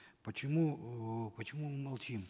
почему э почему мы молчим